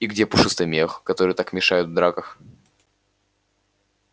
и где пушистый мех который так мешает в драках